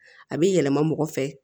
A bɛ yɛlɛma mɔgɔ fɛ